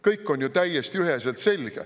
Kõik on ju täiesti üheselt selge.